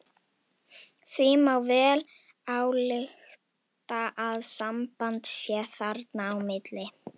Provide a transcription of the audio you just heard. Því má vel álykta að samband sé þarna á milli.